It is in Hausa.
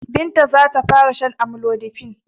Binta za ta fara shan amlodipine.